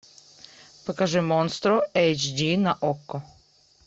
покажи монстро эйч ди на окко